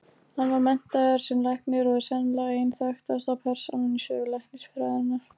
Hann var menntaður sem læknir og er sennilega ein þekktasta persónan í sögu læknisfræðinnar.